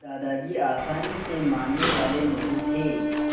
दादाजी आसानी से मानने वाले नहीं थे